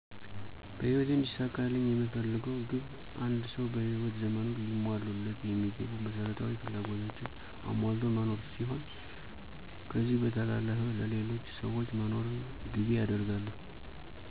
በህይወቴ እንዲሳካልኝ የምፈልገው ግብ አንድ ሰው በህይወት ዘመኑ ሊሟሉለት የሚገቡ መሰረታዊ ፍላጎቶችን አሟልቶ መኖ ሲሆን፤ ከዚህ በተረፈ ለሌሎች ሰዎች መኖርን ግቤ አደርጋለሁ።